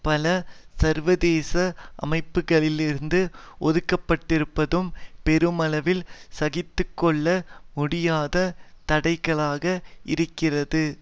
பல சர்வதேச அமைப்புக்களிலிருந்து ஒதுக்கப்பட்டிருப்பதும் பெருமளவில் சகித்து கொள்ள முடியாத தடை கல்லாக இருக்கிறது